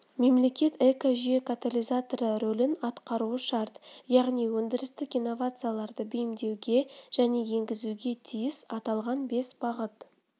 мемлекет экожүйе катализаторы ролін атқаруы шарт яғни өндірістік инновацияларды бейімдеуге және енгізуге тиіс аталған бес бағыт